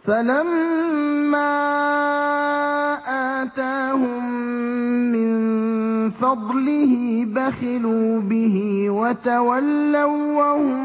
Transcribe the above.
فَلَمَّا آتَاهُم مِّن فَضْلِهِ بَخِلُوا بِهِ وَتَوَلَّوا وَّهُم